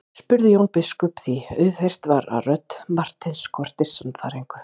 spurði Jón biskup því auðheyrt var að rödd Marteins skorti sannfæringu.